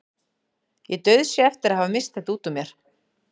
Ég dauðsá eftir að hafa misst þetta út úr mér.